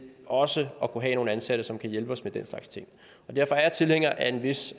også at kunne have nogle ansatte som kan hjælpe os med deres slags ting derfor er jeg tilhænger af en vis